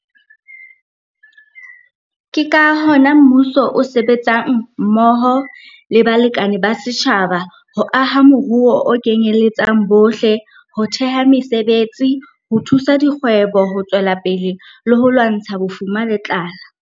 Ke ka hona mmuso o sebetsang mmoho le balekane ba setjhaba ho aha moruo o kenyeletsang bohle, ho theha mesebetsi, ho thusa dikgwebo ho tswela pele le ho lwantsha bofuma le tlala.